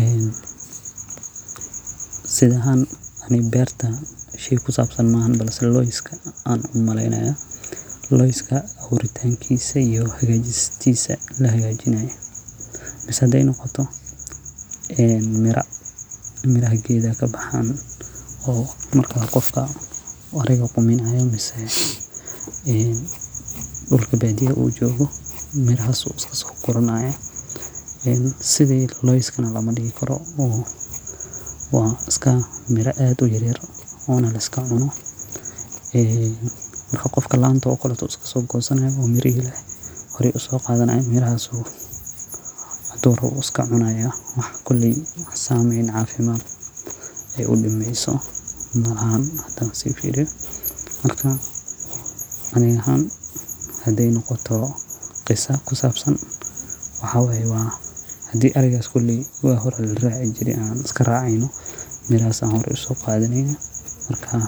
En si ahan ani berta shey kusabsan balse loska aan cuno ayan umaleynaya, gedkisa iyo hagajistisa, mise haday nogoto miraha geedka kabahaan marka gofka een dulka badiyaha uu jogo mirahas ayu iskadoguranaya, en lamadihikaro oo wa iska miraa aad uyar yar ona laskacuno, marka gofka lanto kaleto ayu iskasogosana uu mitihi na hore usogadanaya mirahas uu hadu rabo iskacunaya, wax koley wax sameyn malaha, hadan sifiriyo, marka ani ahan haday nogoto qisaa kusabsan, waxa waye wa hadhii ari koley wa hore usogadaneyna marka